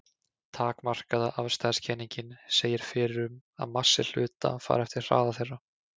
Takmarkaða afstæðiskenningin segir fyrir um það að massi hluta fari eftir hraða þeirra.